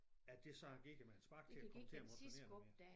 At det så har givet mig et spark til at komme til at motionere noget mere